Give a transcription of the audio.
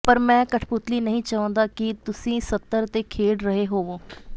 ਪਰ ਮੈਂ ਕਠਪੁਤਲੀ ਨਹੀਂ ਚਾਹੁੰਦਾ ਕਿ ਤੁਸੀਂ ਸਤਰ ਤੇ ਖੇਡ ਰਹੇ ਹੋਵੋ